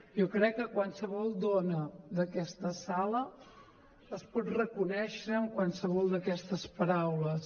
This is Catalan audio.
jo crec que qualsevol dona d’aquesta sala es pot reconèixer en qualsevol d’aquestes paraules